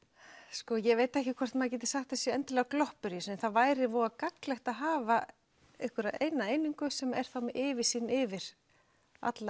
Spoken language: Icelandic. sko ég veit ekki hvort maður geti sagt að það séu endilega gloppur í þessu en það væri voða gagnlegt að hafa einhverja eina einingu sem er þá með yfirsýn yfir alla